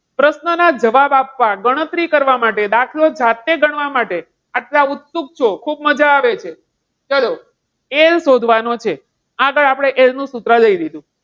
પ્રશ્નના જવાબ આપવા ગણતરી કરવા માટે દાખલા જાતે ગણવા માટે આટલા ઉત્સુક છો ખૂબ મજા આવે છે. ચાલો L શોધવાનો છે. આગળ આપણે L નું સૂત્ર લઈ લીધું.